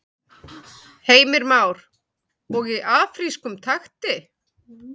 Heimir Már: Og í afrískum takti?